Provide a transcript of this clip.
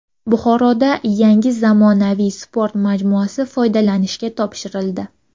Buxoroda yangi zamonaviy sport majmuasi foydalanishga topshirildi.